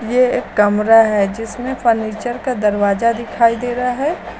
ये एक कमरा है जिसमें फर्नीचर का दरवाजा दिखाई दे रहा है।